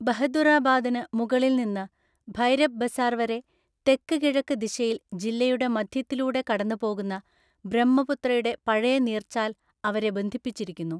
ബഹദുറാബാദിന് മുകളിൽ നിന്ന് ഭൈരബ് ബസാർ വരെ തെക്ക് കിഴക്ക് ദിശയിൽ ജില്ലയുടെ മധ്യത്തിലൂടെ കടന്നുപോകുന്ന ബ്രഹ്മപുത്രയുടെ പഴയ നീർച്ചാൽ അവരെ ബന്ധിപ്പിച്ചിരിക്കുന്നു.